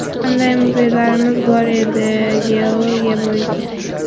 Qanday muzeylarimiz bor edi geologiya bo‘yicha.